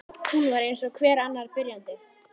Hún var eins og hver annar byrjandi.